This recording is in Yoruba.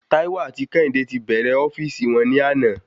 Taiwo ati kéhìndé ti bẹrẹ ofíìsì won ni àná